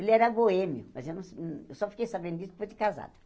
Ele era boêmio, mas eu não eu só fiquei sabendo disso depois de casado.